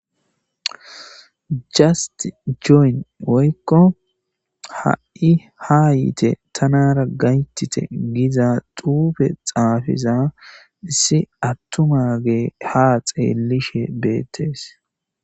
'Just join' woyko ha'i haayite Tamara gayetite giza xuufe xaafiza issi atuma adde ha xeelishe de'es.